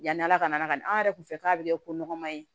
Yani ala ka na anw yɛrɛ kun fɛ k'a bɛ kɛ ko nɔgɔma ye